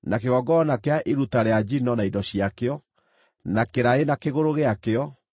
kĩgongona kĩa iruta rĩa njino na indo ciakĩo, na kĩraĩ na kĩgũrũ gĩakĩo,